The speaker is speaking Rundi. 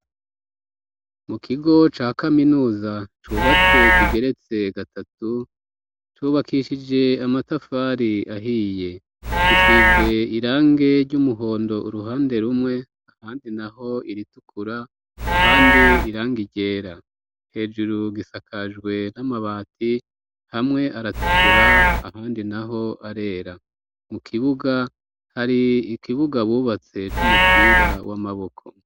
Mu kigo ca kaminuza cubatse kigeretse gatatu cubakishije amatafari ahiye gisize irange ry'umuhondo uruhande rumwe ahandi naho iritukura ahandi irangi ryera hejuru gisakajwe n'amabati hamwe aratukura ahandi naho arera mu kibuga hari ikibuga bubatse c'umupira w'amaboko.